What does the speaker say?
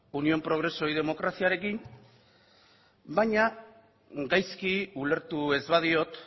unión progreso y democraciarekin baina gaizki ulertu ez badiot